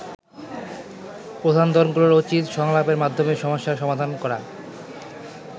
প্রধান দলগুলোর উচিত সংলাপের মাধ্যমে সমস্যার সমাধান করা।